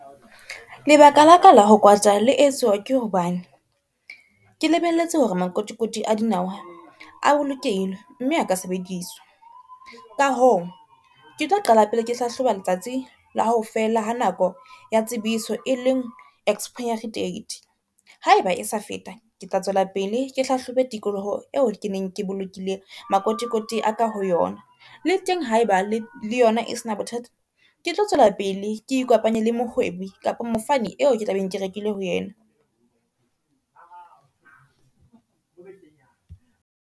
Lebaka la ka la ho kwata le etswa ke hobane, ke lebelletse hore makotikoti a dinawa a bolokehile mme a ka sebediswa. Ka hoo ke tlo qala pele ke hlahloba letsatsi la hofela ha nako ya tsebiso e leng expiry date. Haeba e sa feta, ke tla tswela pele ke hlahlobe tikoloho eo ke neng ke bolokile makotikoti a ka ho yona. Le teng haeba le yona e se na bothata, ke tlo tswela pele ke ikopanye le mohwebi kapa mofani eo ke tla beng ke rekile ho yena.